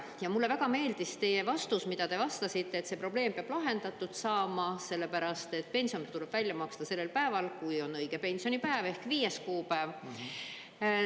Ja mulle väga meeldis teie vastus, mida te vastasite, et see probleem peab lahendatud saama, sellepärast et pension tuleb välja maksta sellel päeval, kui on õige pensionipäev, ehk 5. kuupäev.